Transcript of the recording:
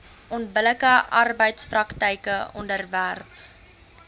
onbillike arbeidspraktyke onderwerp